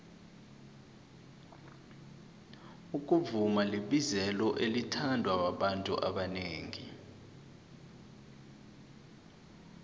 ukuvuma libizelo elithandwa babantu abanengi